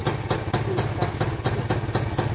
Hita upp